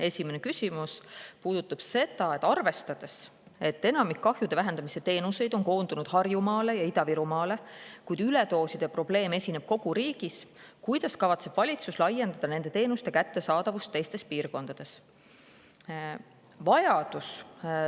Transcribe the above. Esimene küsimus: "Arvestades, et enamik kahjude vähendamise teenuseid on koondunud Harjumaale ja Ida-Virumaale, kuid üledooside probleem esineb kogu riigis, kuidas kavatseb valitsus laiendada nende teenuste kättesaadavust teistes piirkondades?